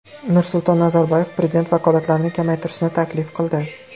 Nursulton Nazarboyev prezident vakolatlarini kamaytirishni taklif qildi.